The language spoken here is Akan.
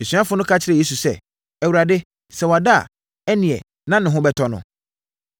Asuafoɔ no ka kyerɛɛ Yesu sɛ, “Awurade, sɛ wada deɛ a, ɛnneɛ na ne ho bɛtɔ no.”